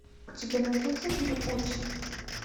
у тебя найдется фильм отчим